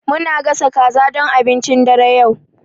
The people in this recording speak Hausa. Muna gasa kaza don abincin dare yau.